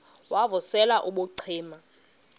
wav usel ubucima